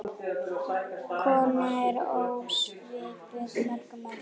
Kona ekki ósvipuð mörgum öðrum.